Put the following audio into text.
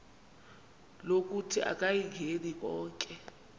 lokuthi akayingeni konke